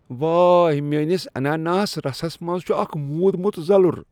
وٲے! میٛٲنس اناناس رسس منٛز چھ اکھ مودمت زلُر۔